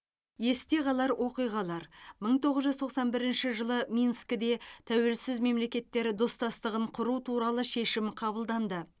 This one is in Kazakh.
есте қалар оқиғалар мың тоғыз жүз тоқсан бірінші жылы минскіде тәуелсіз мемлекеттер достастығын құру туралы шешім қабылданды